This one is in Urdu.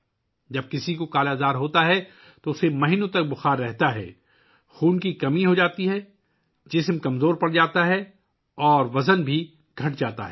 جب کسی کو 'کالا آزار' ہوتا ہے تو اسے مہینوں بخار رہتا ہے، خون کی کمی ہوتی ہے، جسم کمزور ہو جاتا ہے اور وزن بھی کم ہو جاتا ہے